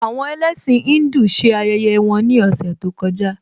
Àwọn ẹlẹ́sìn Híńdù ṣe ayẹyẹ wọn ní ọ̀sẹ̀ tó kọjá